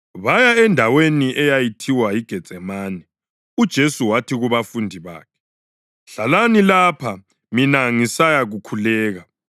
Baya endaweni eyayithiwa yiGetsemane, uJesu wathi kubafundi bakhe, “Hlalani lapha mina ngisayakhuleka.”